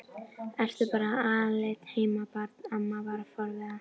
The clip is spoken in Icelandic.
Ertu bara alein heima barn? amma var forviða.